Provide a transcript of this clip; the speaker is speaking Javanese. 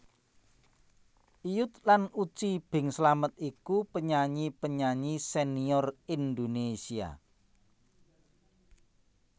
Iyut lan Uci Bing Slamet iku penyanyi penyanyi senior Indonesia